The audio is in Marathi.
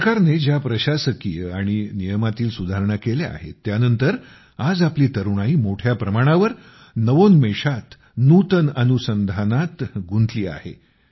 सरकारने ज्या प्रशासकीय आणि नियमांतील सुधारणा केल्या आहेत त्यानंतर आज आपली तरुणाई मोठ्या प्रमाणावर नवोन्मेषात नव्या संशोधनात गुंतली आहे